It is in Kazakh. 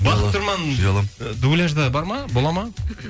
бақыт тұрман дубляжда бар ма болады ма